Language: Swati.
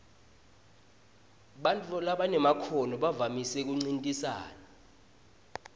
bantfu labanemakhono bavamise kuncintisana